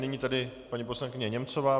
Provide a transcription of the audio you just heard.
Nyní tedy paní poslankyně Němcová.